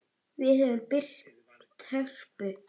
Við höfum byggt Hörpu.